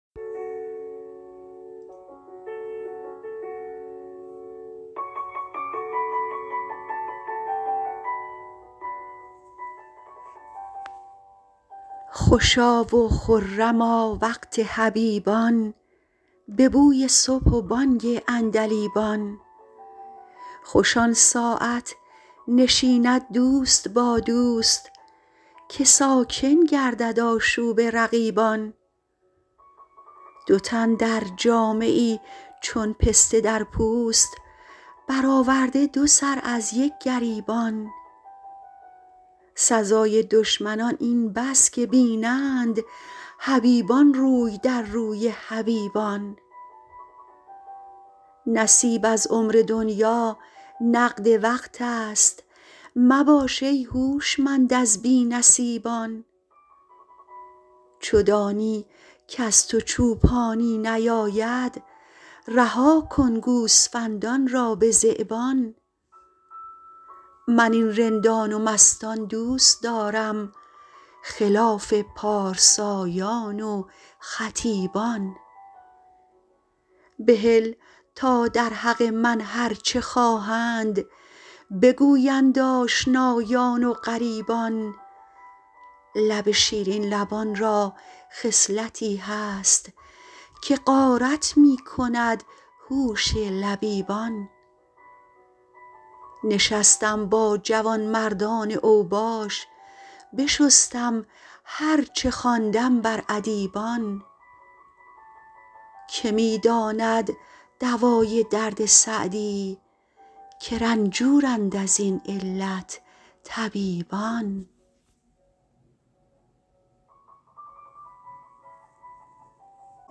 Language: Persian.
خوشا و خرما وقت حبیبان به بوی صبح و بانگ عندلیبان خوش آن ساعت نشیند دوست با دوست که ساکن گردد آشوب رقیبان دو تن در جامه ای چون پسته در پوست برآورده دو سر از یک گریبان سزای دشمنان این بس که بینند حبیبان روی در روی حبیبان نصیب از عمر دنیا نقد وقت است مباش ای هوشمند از بی نصیبان چو دانی کز تو چوپانی نیاید رها کن گوسفندان را به ذیبان من این رندان و مستان دوست دارم خلاف پارسایان و خطیبان بهل تا در حق من هر چه خواهند بگویند آشنایان و غریبان لب شیرین لبان را خصلتی هست که غارت می کند هوش لبیبان نشستم با جوانمردان اوباش بشستم هر چه خواندم بر ادیبان که می داند دوای درد سعدی که رنجورند از این علت طبیبان